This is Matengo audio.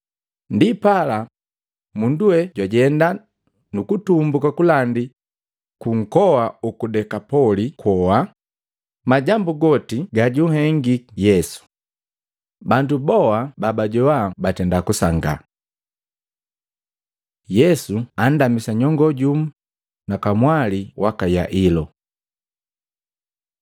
Ndipala, mundu we jwajenda nukutumbuka kalandi kunkoa uku Dekapoli kwoa, majambu goti gajuhengiki Yesu. Bandu boa babajoa batenda kusangaa. Yesu jalamisa nyongoo jumu na kamwali waka Yailo Matei 9:18-26; Luka 8:40-56